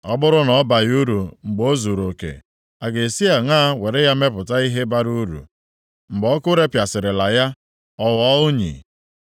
Ọ bụrụ na ọ baghị uru mgbe o zuruoke, a ga-esi aṅa were ya mepụta ihe bara uru mgbe ọkụ repịasịrịla ya, ọ ghọọ unyi?